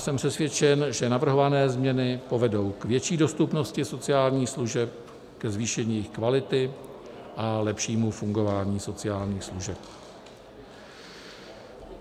Jsem přesvědčen, že navrhované změny povedou k větší dostupnosti sociálních služeb, ke zvýšení jejich kvality a lepšímu fungování sociálních služeb.